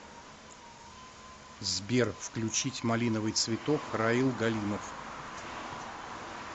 сбер включить малиновый цветок раил галимов